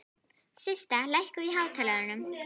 Systa, lækkaðu í hátalaranum.